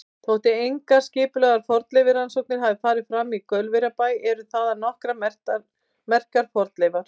Þótt engar skipulegar fornleifarannsóknir hafi farið fram í Gaulverjabæ eru þaðan nokkrar merkar fornleifar.